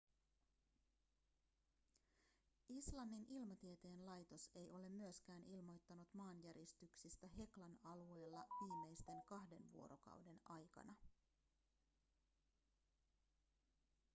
islannin ilmatieteen laitos ei ole myöskään ilmoittanut maanjäristyksistä heklan alueella viimeisten kahden vuorokauden aikana